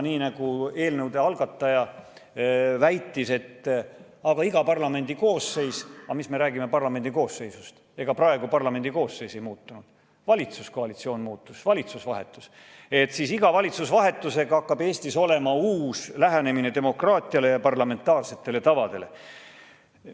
Nii nagu eelnõude algataja väitis, hakkab Eestis iga parlamendi koosseisu vahetusega – aga mis me räägime parlamendi koosseisust, ega praegu ei muutunud parlamendi koosseis, valitsuskoalitsioon muutus, valitsus vahetus –, iga valitsuse vahetusega olema uus lähenemine demokraatiale ja parlamentaarsetele tavadele.